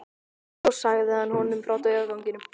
Svo sagði hann honum frá draugaganginum.